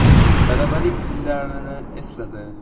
Talabalik yillarini esladi.